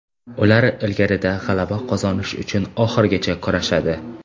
Ular ligada g‘alaba qozonish uchun oxirigacha kurashadi.